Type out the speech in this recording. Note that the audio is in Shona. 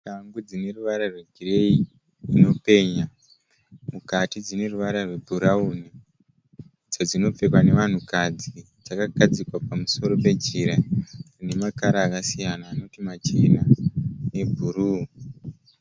Shangu dzine ruvara rwegireyi dzinopenya. Mukati dzine ruvara rwebhurauni. Idzo dzinopfekwa nevanhukadzi. Dzakagadzikwa pamusoro pejira rine makara akasiyana anoti machena nebhuruu.